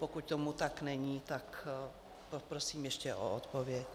Pokud tomu tak není, tak poprosím ještě o odpověď.